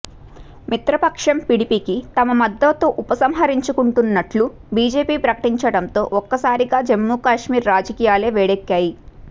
మిత్రపక్షం PDP కి తమ మద్దతు ఉపసింహరించుకుంటున్నట్లు బిజెపి ప్రకటించడంతో ఒక్కసారిగా జమ్మూ కాశ్మీర్ రాజకీయాలే వేడెక్కాయి